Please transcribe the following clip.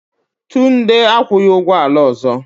Tunde akwụghị ụgwọ ala ọzọ.